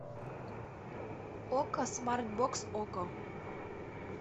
окко смарт бокс окко